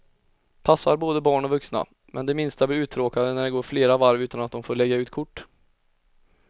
Passar både barn och vuxna, men de minsta blir uttråkade när det går flera varv utan att de får lägga ut kort.